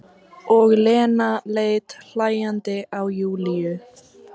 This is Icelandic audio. Og Lena leit hlæjandi á Júlíu.